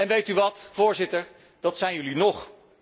Weet u, Voorzitter, dat zijn jullie nog.